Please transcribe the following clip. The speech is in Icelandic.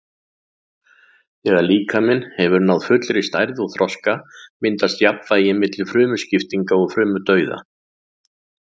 Þegar líkaminn hefur náð fullri stærð og þroska myndast jafnvægi milli frumuskiptinga og frumudauða.